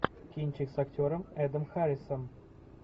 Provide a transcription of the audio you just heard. кинчик с актером эдом харрисом